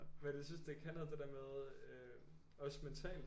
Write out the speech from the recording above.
Men jeg synes det kan noget det der med øh også mentalt